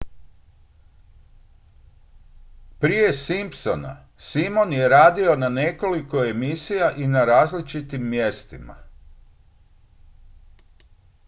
prije simpsona simon je radio na nekoliko emisija i na različitim mjestima